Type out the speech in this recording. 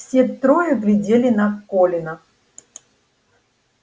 все трое глядели на колина